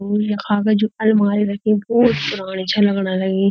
ऊ यखाँ का जू अलमारी रखीं भौत पुराणी छा लगण लगीं।